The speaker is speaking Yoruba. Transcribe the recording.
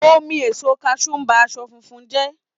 Omi èso kaṣú ń bá aṣọ funfun jẹ́